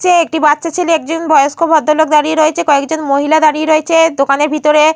ছে একটি বাচ্চা ছেলে একজন বয়স্ক ভদ্রলোক কয়েকজন মহিলা দাঁড়িয়ে রয়েছে দোকানের ভিতরে।